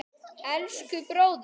Elsku, bróðir.